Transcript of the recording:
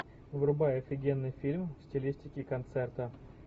врубай офигенный фильм в стилистике концерта